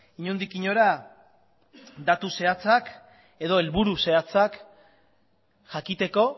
inondik inora datu zehatzak edo helburu zehatzak jakiteko